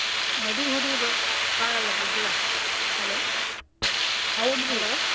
ಮಡಿ ಹುಡಿ ಬಾಳಲ್ಲ ಗುಗ್ಗಳ hello .